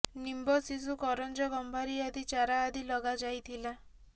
ନିମ୍ବ ଶିଶୁ କରଞ୍ଜ ଗମ୍ଭାରୀ ଆଦି ଚାରା ଆଦି ଲଗାଯାଇଥିଲା